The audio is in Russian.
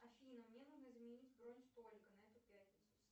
афина мне нужно изменить бронь столика на эту пятницу